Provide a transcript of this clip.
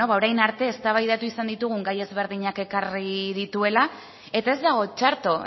beno ba orain arte eztabaidatu izan ditugun gai ezberdinak ekarrik dituela eta ez dago txarto